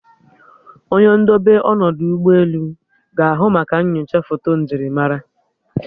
Onye ndobe ọnọdụ ụgbọelu ga-ahụ maka nnyocha foto njirimara